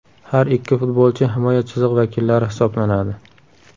Har ikki futbolchi himoya chizig‘i vakillari hisoblanadi.